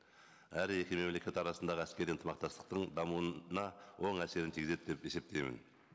әрі екі мемлекет арасындағы әскери ынтымақтастықтың дамуына оң әсерін тигізеді деп есептеймін